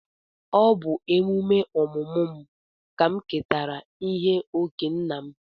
Ọ bụ emume ọmụmụ ka m ketara ihe okee nna m.